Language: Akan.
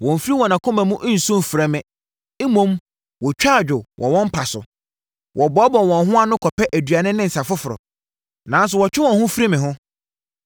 Wɔmmfiri wɔn akoma mu nnsu mfrɛ me mmom wɔtwa adwo wɔ wɔn mpa so. Wɔboaboa wɔn ho ano kɔpɛ aduane ne nsã foforɔ, nanso wɔtwe wɔn ho firi me ho.